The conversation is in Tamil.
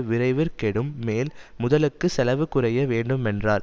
விரைவிற் கெடும் மேல் முதலுக்குச் செலவு குறைய வேண்டுமென்றார்